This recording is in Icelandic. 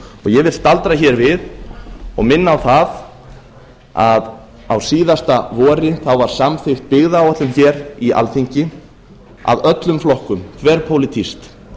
ég vil staldra hér við og minna á það að á síðasta vori var samþykkt byggðaáætlun hér í alþingi af öllum flokkum þverpólitískt